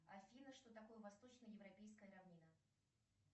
афина что такое восточно европейская равнина